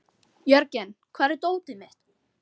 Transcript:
Jörgen, hvar er dótið mitt?